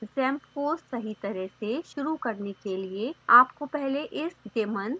xampp को सही तरह से शुरू करने के लिए आपको पहले इस daemon को रोकना होगा